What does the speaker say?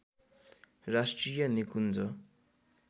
राष्ट्रिय निकुञ्ज